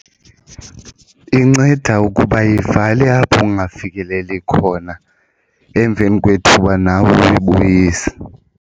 Inceda ukuba ivale apho ungafikeleli khona emveni kwethuba nawe uyibuyise.